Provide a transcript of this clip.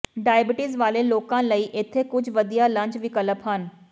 diabetes ਵਾਲੇ ਲੋਕਾਂ ਲਈ ਇੱਥੇ ਕੁਝ ਵਧੀਆ ਲੰਚ ਵਿਕਲਪ ਹਨ